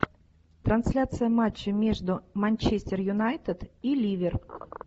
трансляция матча между манчестер юнайтед и ливер